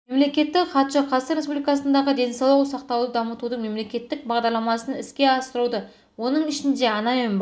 мемлекеттік хатшы қазақстан республикасындағы денсаулық сақтауды дамытудың мемлекеттік бағдарламасын іске асыруда оның ішінде ана мен бала